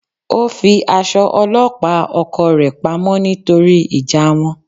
Ó fi aṣọ ọlọ́pàá oko rẹ̀ pa mọ́ nítorí ìjà wọn.